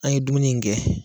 An ye dumuni in gɛ